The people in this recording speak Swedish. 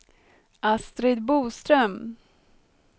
Astrid Boström